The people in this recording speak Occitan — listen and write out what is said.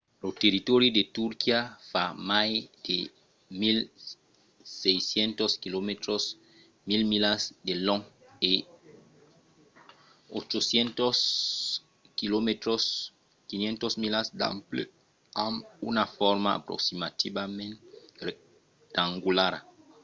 lo territòri de turquia fa mai de 1 600 quilomètres 1 000 milas de long e 800 km 500 milas d’ample amb una forma aproximativament rectangulara